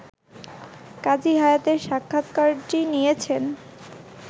কাজী হায়াতের সাক্ষাৎকারটি নিয়েছেন